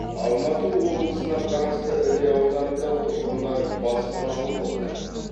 алматы облысына қарасты іле ауданында тұрғындар баспаналы болды